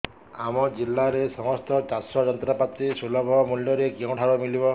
ଆମ ଜିଲ୍ଲାରେ ସମସ୍ତ ଚାଷ ଯନ୍ତ୍ରପାତି ସୁଲଭ ମୁଲ୍ଯରେ କେଉଁଠାରୁ ମିଳିବ